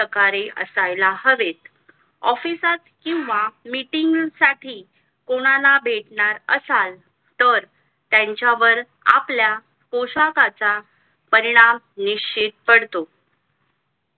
प्रकारे असायला हवे office किंवा meeting साठी कोणाला भेटणार असाल तर त्यांच्यावर आपल्या पोशाखाचा परिणाम निश्चित पडतो